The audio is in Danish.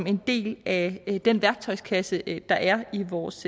en del af den værktøjskasse der er i vores